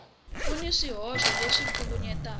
ku na swihoxo leswi kavanyetaka